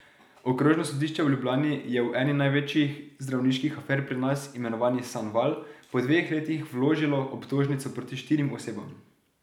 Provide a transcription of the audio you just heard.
Okrožno sodišče v Ljubljani je v eni največjih zdravniških afer pri nas, imenovani Sanval, po dveh letih vložilo obtožnico proti štirim osebam.